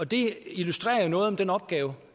det illustrerer noget af den opgave